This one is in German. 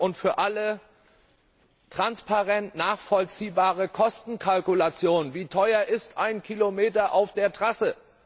Klare und für alle transparent nachvollziehbare Kostenkalkulation Wie teuer ist ein Kilometer auf der Trasse?